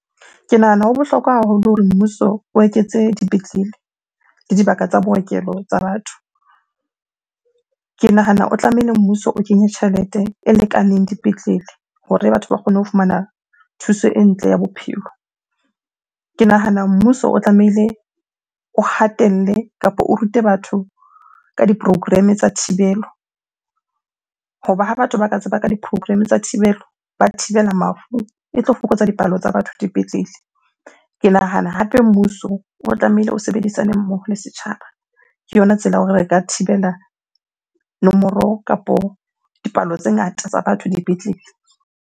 Ke nahana ho bohlokwa haholo hore mmuso o eketse dipetlele le dibaka tsa bookelo tsa batho. Ke nahana o tlamehile mmuso o kenye tjhelete e lekaneng dipetlele hore batho ba kgone ho fumana thuso e ntle ya bophelo. Ke nahana mmuso o tlamehile o hatelle kapa o rute batho ka di-program-e tsa thibelo. Hoba ha batho ba ka tseba ka di-program-e tsa thibelo, ba thibela mafu, e tlo fokotsa dipalo tsa batho dipetlele. Ke nahana hape mmuso o tlamehile o sebedisane mmoho le setjhaba. Ke yona tsela ya hore re ka thibela nomoro kapo dipalo tse ngata tsa batho dipetlele.